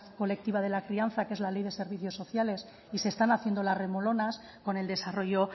colectiva de la crianza que es la ley de servicios sociales y se están haciendo las remolonas con el desarrollo